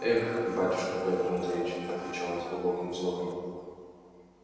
эх батюшка пётр андреич отвечал он с глубоким вздохом